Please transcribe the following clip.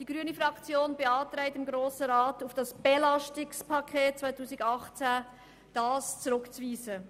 Die grüne Fraktion beantragt dem Grossen Rat, das paket 2018 zurückzuweisen.